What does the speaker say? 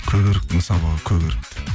көк өріктің сабағы көгеріпті